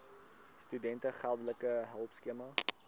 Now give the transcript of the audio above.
studente geldelike hulpskema